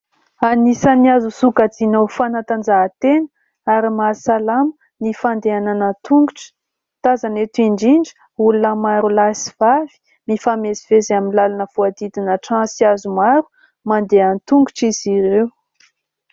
Anisan'ny azo sokajiana ho fanatanjahantena ary mahasalamana ny fandehanana tongotra. Tazana eto indrindra olona maro lahy sy vavy, mifamezivezy amin'ny lalana voahodidina trano sy hazo maro. Mandeha an-tongotra izy ireo.